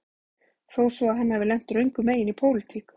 Þó svo að hann hafi lent röngum megin í pólitík